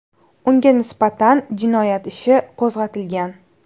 Unga nisbatan jinoyat ishi qo‘zg‘atilgan.